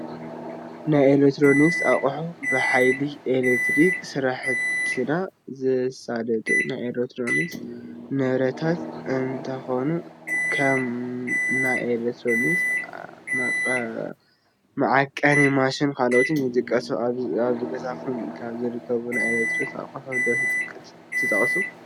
ናይ ኤሌክትሮኒክስ ኣቑሑ፡-ብሓይሊ ኤሌክትሪክ ስራሕትና ዘሳልጡ ናይ ኤሌክትሮኒክስ ንብረታት እንትኾኑ ከም ናይ ኤሌክትሪክ መዐቀኒ ማሽን ካልኦት ይጥቀሱ፡፡ ኣብ ገዛኹም ካብ ዝርከቡ ናይ ኤሌክትሮኒክ ኣቑሑት ዶ ትጠቕሱ?